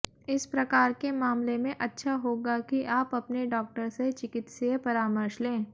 इस प्रकार के मामले में अच्छा होगा कि आप अपने डॉक्टर से चिकित्सीय परामर्श लें